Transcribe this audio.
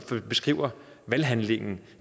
beskriver valghandlingen